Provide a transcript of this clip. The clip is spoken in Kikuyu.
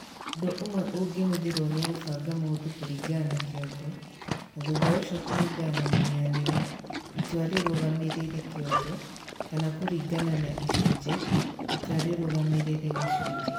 Ũndũ ũmwe ũngĩhũthĩrũo nĩ kũbanga maũndũ kũringana na kĩongo, na thutha ũcio kũringana na mũhianĩre (itua rĩrũgamĩrĩire kĩongo), kana kũringana na icunjĩ (itua rĩrũgamĩrĩire gĩcunjĩ).